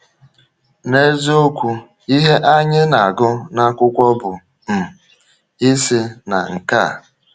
N’eziokwu, ihe anyị na-agụ n’akwụkwọ bụ um isi na nke a.